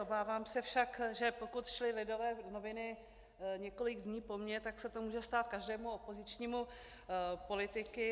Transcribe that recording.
Obávám se však, že pokud šly Lidové noviny několik dní po mně, tak se to může stát každému opozičnímu politikovi.